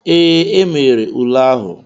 Ee, e mere ule ahụ.